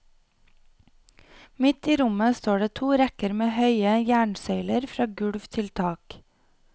Midt i rommet står det to rekker med høye jernsøyler fra gulv til tak.